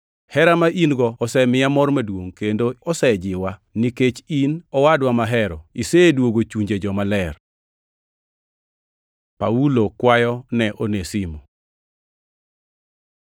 Hera ma in-go osemiya mor maduongʼ kendo osejiwa, nikech in, owadwa mahero, isedwogo chunje jomaler. Paulo kwayo ne Onesimo